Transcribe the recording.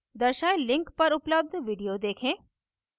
दर्शाये link पर उपलब्ध video लिखें